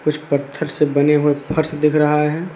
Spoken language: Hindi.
कुछ पत्थर से बने हुए फर्श दिख रहा है।